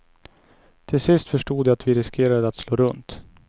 Till sist förstod jag att vi riskerade att slå runt.